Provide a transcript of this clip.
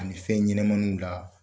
Ani fɛn ɲɛnɛmaniw la